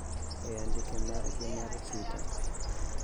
E andike margi mar tweeter